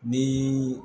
Ni